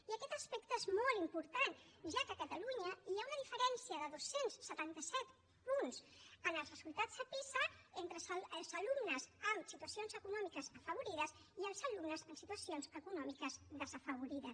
i aquest aspecte és molt important ja que a catalunya hi ha una diferència de dos cents i setanta set punts en els resultats a pisa entre els alumnes amb situacions econòmiques afavorides i els alumnes amb situacions econòmiques desafavorides